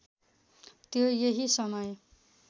त्यो यही समय